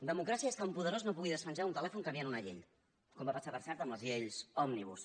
democràcia és que un poderós no pugui despenjar un telèfon canviant una llei com va passar per cert amb les lleis òmnibus